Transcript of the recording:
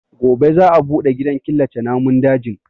Gobe za a bude gidan killace namun dajin.